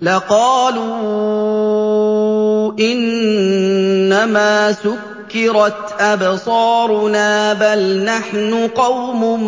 لَقَالُوا إِنَّمَا سُكِّرَتْ أَبْصَارُنَا بَلْ نَحْنُ قَوْمٌ